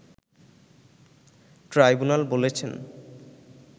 tribunal বলেছেন